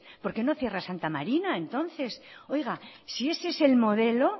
por qué no cierra santa marina entonces oiga si ese es el modelo